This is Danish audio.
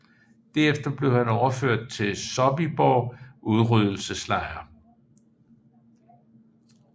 Derefter blev han overført til Sobibór udryddelseslejren